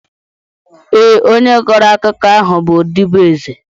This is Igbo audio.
Ee, onye kọrọ akụkọ ahụ bụ ọdịbeeze